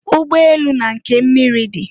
Ụgbọ elu na nke miri di.